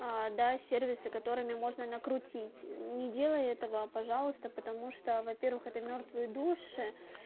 а да сервисы которыми можно накрутить не делай этого пожалуйста потому что во-первых это мёртвые души